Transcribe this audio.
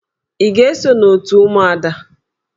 Ị ga-eso n'òtù ụmụada?